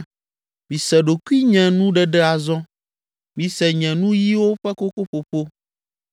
Mise ɖokuinyenuɖeɖe azɔ, mise nye nuyiwo ƒe kokoƒoƒo.